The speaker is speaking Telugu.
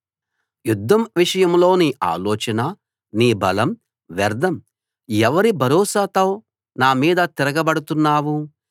యుద్ధం విషయంలో నీ ఆలోచన నీ బలం వ్యర్ధం ఎవరి భరోసాతో నా మీద తిరగబడుతున్నావు